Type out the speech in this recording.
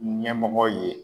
Ɲɛmɔgɔ ye